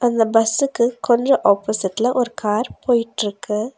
இந்த பஸ்சுக்கு கொஞ்ஜோ ஆப்போசிட்ல ஒரு கார் போயிட்ருக்கு.